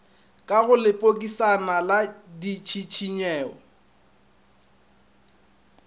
ka go lepokisana la ditšhišinyo